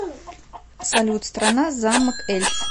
салют страна замок эльц